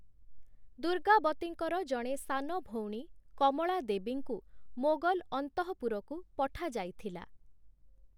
ଦୁର୍ଗାବତୀଙ୍କର ଜଣେ ସାନ ଭଉଣୀ କମଳା ଦେବୀଙ୍କୁ ମୋଗଲ ଅନ୍ତଃପୁରକୁ ପଠାଯାଇଥିଲା ।